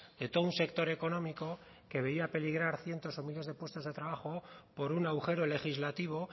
de todo un sector económico que veía peligrar cientos o miles de puestos de trabajo por un agujero legislativo